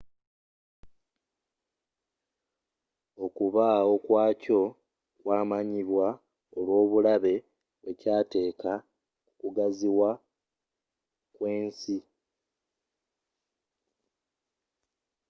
okubaawo kwakyo kwamanyibwa olwobulabe bwekyaateeka kukugaziwa kwensi